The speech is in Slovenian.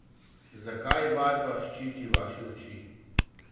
Zakaj vadba ščiti vaše oči?